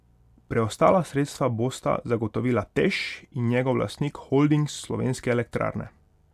Preostala sredstva bosta zagotovila Teš in njegov lastnik Holding Slovenske elektrarne.